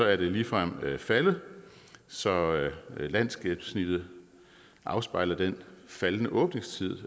er det ligefrem faldet så landsgennemsnittet afspejler den faldende åbningstid